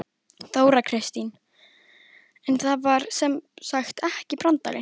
Þóra Kristín: En það var sem sagt ekki brandari?